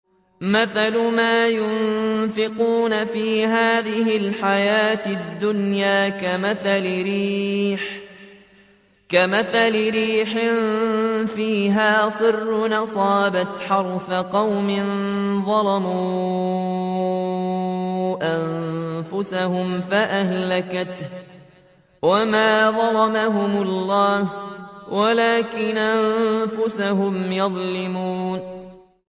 مَثَلُ مَا يُنفِقُونَ فِي هَٰذِهِ الْحَيَاةِ الدُّنْيَا كَمَثَلِ رِيحٍ فِيهَا صِرٌّ أَصَابَتْ حَرْثَ قَوْمٍ ظَلَمُوا أَنفُسَهُمْ فَأَهْلَكَتْهُ ۚ وَمَا ظَلَمَهُمُ اللَّهُ وَلَٰكِنْ أَنفُسَهُمْ يَظْلِمُونَ